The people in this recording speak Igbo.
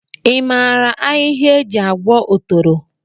I maara ahịhịa e ji agwọ otoro?